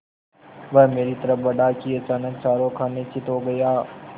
वह मेरी तरफ़ बढ़ा कि अचानक चारों खाने चित्त हो गया